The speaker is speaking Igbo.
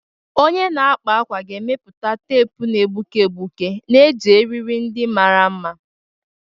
Onye na-akpa ákwà ga-emepụta teepu na-egbuke egbuke na-eji eriri ndị mara mma.